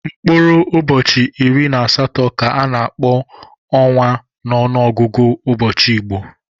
Mkpụrụ ụbọchị iri na asatọ ka a na-akpọ ọnwa n'ọnụọgụgụ ụbọchị Igbo.